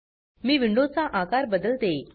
मी window चा आकार बदलते